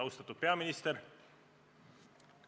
Austatud peaminister!